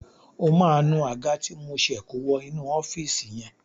O máa nu Àga ti mo ṣe kó wọ inú ọ́fíìsì yẹn.